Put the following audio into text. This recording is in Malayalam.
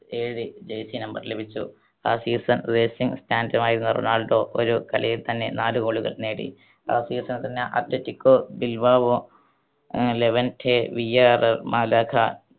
ഏഴ് jersey number ലഭിച്ചു. ആ season racing മായിരുന്ന റൊണാൾഡോ ഒരു കളിയിൽ തന്നെ നാല് goal കൾ നേടി. ആ season ൽ തന്നെ അത്ലറ്റികോ ബിൽബാവോ, ആഹ് ലെവൻറ്റെ, വിയ്യാറർ, മാലാഗ